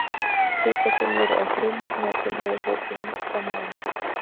Kvikasilfur er frumefni og tilheyrir hópi mjúkra málma.